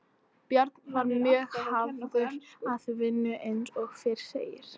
Björn var mjög hafður að vinnu eins og fyrr segir.